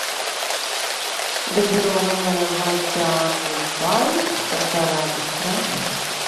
газированная вода кубай полтора литра